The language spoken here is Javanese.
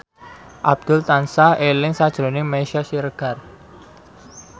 Abdul tansah eling sakjroning Meisya Siregar